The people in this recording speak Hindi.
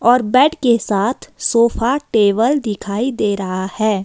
और बैड के साथ सोफा टेबल दिखाई दे रहा है।